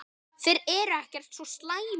Þeir eru ekkert svo slæmir.